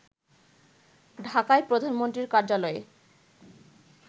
ঢাকায় প্রধানমন্ত্রীর কার্যালয়ে